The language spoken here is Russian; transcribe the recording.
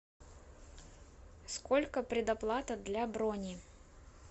сколько предоплата для брони